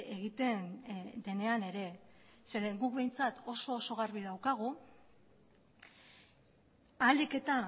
egiten denean ere zeren guk behintzat oso oso garbi daukagu ahalik eta